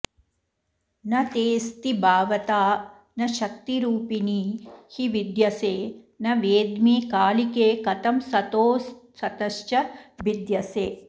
न तेऽस्ति भावता न शक्तिरूपिणी हि विद्यसे न वेद्मि कालिके कथं सतोऽसतश्च भिद्यसे